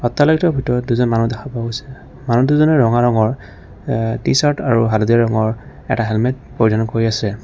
ভিতৰত দুজন মানুহ দেখা পোৱা গৈছে মানুহ দুজনে ৰঙা ৰঙৰ এ টি-চাৰ্ট আৰু হালধীয়া ৰঙৰ এটা হেলমেত পৰিধান কৰি আছে।